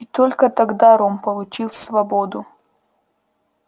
и только тогда рон получил свободу